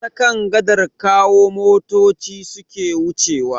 Ta kan gadar Kawo motoci suke wucewa.